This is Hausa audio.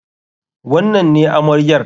Wannan ne amaryar?